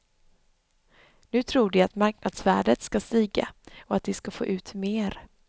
Nu tror de att marknadsvärdet skall stiga och att de skall få ut mer.